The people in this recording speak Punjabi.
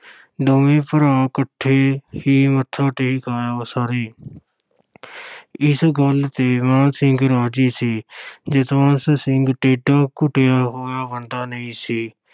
ਦੋਵੇਂ ਭਰਾ ਇਕੱਠੇ ਹੀ ਮੱਥਾ ਟੇਕ ਆਇਓ ਸਾਰੇ ਇਸ ਗੱਲ 'ਤੇ ਮਾਨ ਸਿੰਘ ਰਾਜ਼ੀ ਸੀ ਜਸਵੰਤ ਸਿੰਘ ਏਡਾ ਘੁਟਿਆ ਹੋਇਆ ਬੰਦਾ ਨਹੀਂ ਸੀ।